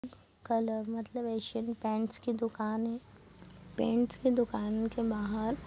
colour मतलब Asian Paints की दूकान है पेंट्स की दूकान के बहार--